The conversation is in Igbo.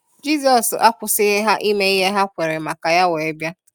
Jizọs akwụsighi há ịme ihe há kwere maka ya weé biá.